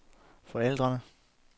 forældrene